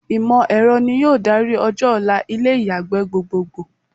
Ìmọ̀ ẹ̀rọ ni yóò darí ọjọ́-ọ̀la ilé ìyàgbẹ́ gbogbogbò.